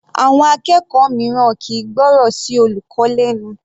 Àwọn Akẹ́kọ̀ọ́ mìíràn kìí gbọ́rọ̀ sí olùkọ́ lẹnu.